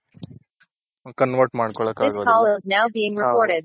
convert ಮಾಡ್ಕೊಳ್ಕ ಆಗಲ್ವ.